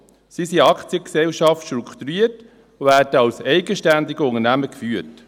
Sie sind als Aktiengesellschaften (AG) strukturiert und werden als eigenständige Unternehmen geführt.